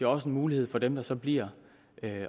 også en mulighed for dem der så bliver